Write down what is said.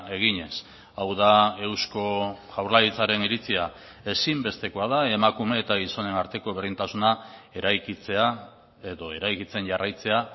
eginez hau da eusko jaurlaritzaren iritzia ezinbestekoa da emakume eta gizonen arteko berdintasuna eraikitzea edo eraikitzen jarraitzea